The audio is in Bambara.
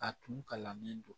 A tun kalannen don